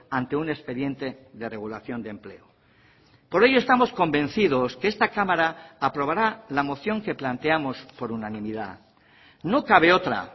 ante un expediente de regulación de empleo por ello estamos convencidos que esta cámara aprobará la moción que planteamos por unanimidad no cabe otra